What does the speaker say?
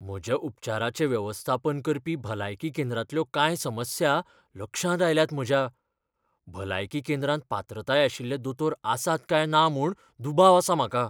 म्हज्या उपचाराचें वेवस्थापन करपी भलायकी केंद्रांतल्यो कांय समस्या लक्षांत आयल्यात म्हज्या. भलायकी केंद्रांत पात्रताय आशिल्ले दोतोर आसात काय ना म्हूण दुबाव आसा म्हाका!